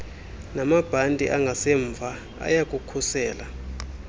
namabhanti angasemva ayabukhusela